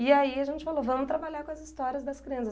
E aí a gente falou, vamo trabalhar com as histórias das crianças.